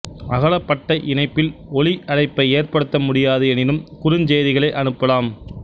அகலப்பட்டை இணைப்பில் ஒலி அழைப்பை ஏற்படுத்தமுடியாது எனினும் குறுஞ்செய்திகளை அனுப்பலாம்